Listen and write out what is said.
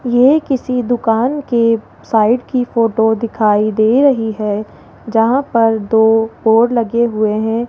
यह किसी दुकान के साइड की फोटो दिखाई दे रही है जहां पर दो बोर्ड लगे हुए हैं।